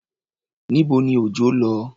Níbo ni Òjọ́ lọ?